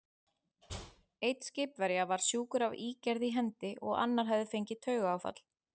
Einn skipverja var sjúkur af ígerð í hendi, og annar hafði fengið taugaáfall.